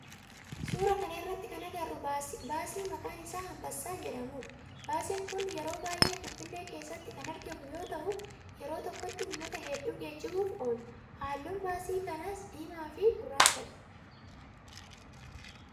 Suuraa kana irratti kan agarru baasii maqaan isaa anbassaa jedhudha. Baasiin kun yeroo baayyee finfinnee keessatti kan argamu yoo ta'u yeroo tokkoti ummata heddu geejjibuuf oola. Halluun baasii kanaa diimaa fi gurraachadha.